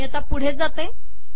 मी आता पुढे जाते